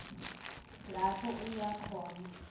lapho uya khona